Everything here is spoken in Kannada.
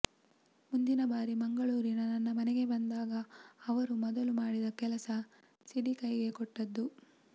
ಮುಂದಿನ ಬಾರಿ ಮಂಗಳೂರಿನ ನನ್ನ ಮನೆಗೆ ಬಂದಾಗ ಅವರು ಮೊದಲು ಮಾಡಿದ ಕೆಲಸ ಸಿಡಿ ಕೈಗೆ ಕೊಟ್ಟದ್ದು